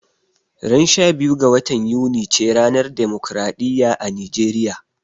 Ran 12 ga watan Yuni ce ranar demokaraɗiya a Nijeriya